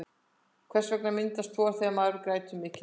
hvers vegna myndast hor þegar maður grætur mikið